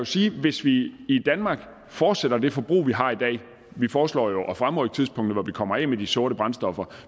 sige at hvis vi i danmark fortsætter det forbrug vi har i dag vi foreslår jo at fremrykke tidspunktet hvor vi kommer af med de sorte brændstoffer